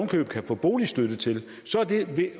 kan få boligstøtte til så